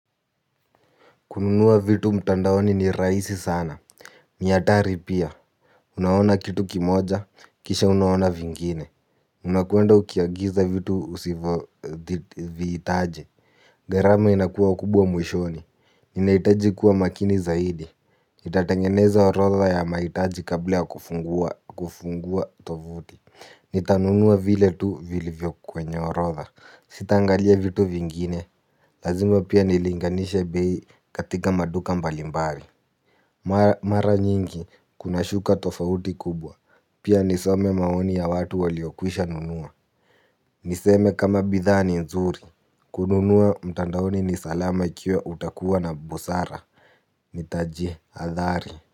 Kununua vitu mtandaoni ni rahisi sana. Nihatari pia. Unaona kitu kimoja. Kisha unaona vingine. Unakuenda ukiagiza vitu usivo Vihitaji. Garama inakuwa kubwa mwishoni. Unahitaji kuwa makini zaidi. Nitatengeneza orotha ya mahitaji kabla ya kufungua kufungua tovuti. Nitanunua vile tu vilivyo kwenye orotha. Sitangalia vitu vingine. Lazima pia nilinganisha bei katika maduka mbalimbali. Mara nyingi kunashuka tofauti kubwa. Pia nisome maoni ya watu waliokwishanunua. Niseme kama bidhaa ni nzuri. Kununua mtandaoni ni salama ikiwa utakuwa na busara. Nitajihathari.